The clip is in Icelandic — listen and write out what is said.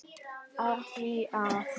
Af því að.